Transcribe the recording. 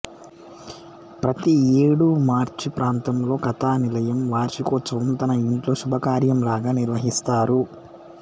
ప్రతి ఏడూ మార్చి ప్రాంతంలో కథానిలయం వార్షికోత్సవం తన ఇంట్లో శుభకార్యంలాగా నిర్వహిస్తారు